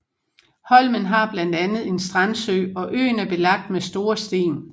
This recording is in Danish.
Holmen har blandt andet en strandsø og øen er belagt med store sten